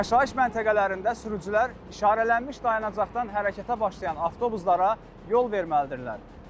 Yaşayış məntəqələrində sürücülər işarələnmiş dayanacaqdan hərəkətə başlayan avtobuslara yol verməlidirlər.